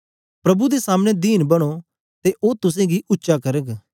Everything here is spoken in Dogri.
प्रभु दे सामने दीन बनो ते ओ तुसेंगी उच्चा करग